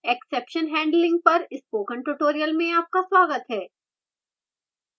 exception handling पर spoken tutorial में आपका स्वागत है